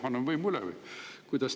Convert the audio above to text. Anname võimu üle või?